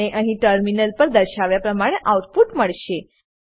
તમને અહીં ટર્મિનલ પર દર્શાવ્યા પ્રમાણે આઉટપુટ મળશે